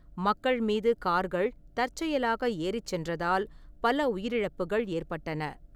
மக்கள் மீது கார்கள் தற்செயலாக ஏறிச் சென்றதால் பல உயிரிழப்புகள் ஏற்பட்டன.